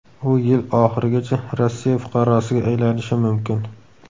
U yil oxirigacha Rossiya fuqarosiga aylanishi mumkin.